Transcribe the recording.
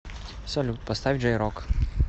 салют поставь джей рок